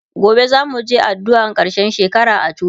gobe zamuje addu'an karshen shekara a coci